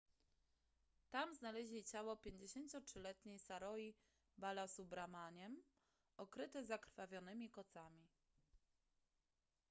tam znaleźli ciało 53-letniej saroji balasubramanian okryte zakrwawionymi kocami